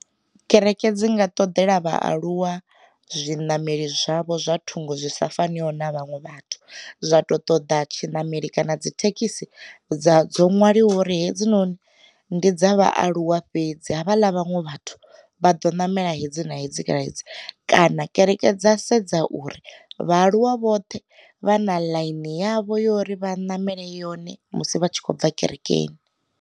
Kereke dzi nga ṱoḓela vhaaluwa zwiṋameli zwavho zwa thungo zwi sa faniho na vhaṅwe vhathu, zwa ṱo ṱoḓa tshinamelo kana dzi thekhisi dza dzo nwaliwa ngori hedzinoni ndi dza vhaaluwa fhedzi havha ḽa vhaṅwe vhathu vha do ṋamela hedzi na hedzi na hedzi. Kana kereke dza sedza uri vhaaluwa vhoṱhe vha na ḽaini yavho yori vha ṋamele yone musi vha tshi khou bva kerekeni.